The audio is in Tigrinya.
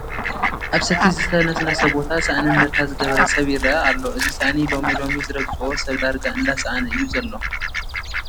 ኣብ ሰቲ ዝተነስነሰ ቦታ ሳእኒ እንድርታ ዝገበረ ሰብ ይርአ ኣሎ፡፡ እዚ ሳእኒ ሎሚ ሎሚ ዝረግፆ ሰብ ዳርጋ እንዳሰአነ እዩ ዘሎ፡፡